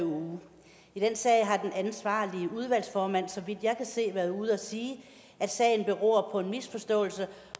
uge i den sag har den ansvarlige udvalgsformand så vidt jeg kan se været ude at sige at sagen beror på en misforståelse